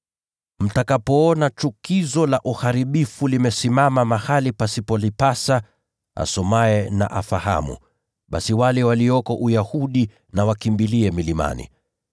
“Mtakapoona ‘chukizo la uharibifu’ limesimama mahali pasipolipasa (asomaye na afahamu), basi wale walioko Uyahudi wakimbilie milimani.